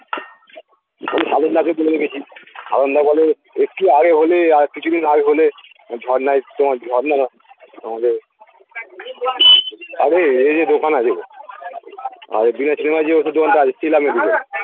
দোকানে গেছি বলে একটু আগে হলে আর কিছুদিন আগে হলে তোমার আমাকে আরে এই যে দোকান আছে গো আর এই যে ওষুধের দোকানটা আছে শিলা medicine